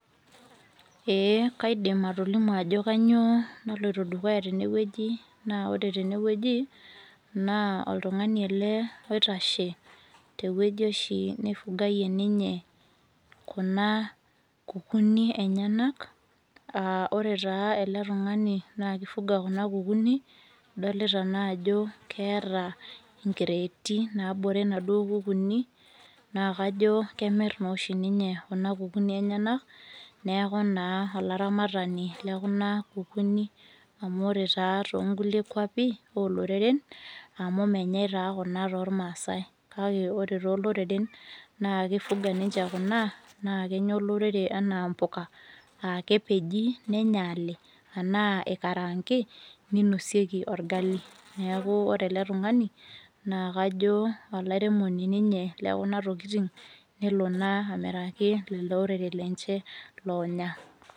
ee kaidim atolimu ajo kainyioo nalito dukuya tene wueji, naa ore tene wueji naa oltungani, ele oitase tewueji oshi neifugayie, ninye ena kukunik enyenak, aa ore taa ele tungani naa kifuga kuna kukuni, idolita naa jo keeta inkireeti naabore inaduo kukuni. naa kajo, kemir naa oshi ninye kuna kuuni enyenak. neeku naa olaramatani lekuna kukuni, amu ore taa too nkulie kuapi ooloreren, amu menyae taa kuna toormaasae. kake ore tooloreren, naa kifuga ninche kuna naa kenya olorere anaa mpuka.aa kepeji nenyaali, anaa ikaraanki, ninosieki orgali. neeku kajo ore ele tungani naa olaingurani lekuna tokitin nelo naa amiraki olorere lenche oonya.